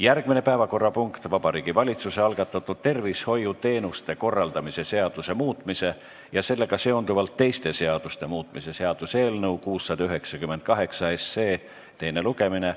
Järgmine päevakorrapunkt on Vabariigi Valitsuse algatatud tervishoiuteenuste korraldamise seaduse muutmise ja sellega seonduvalt teiste seaduste muutmise seaduse eelnõu 698 teine lugemine.